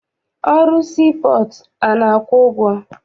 Ọrụ sii pọọtụ a na-akwụ ụgwọ?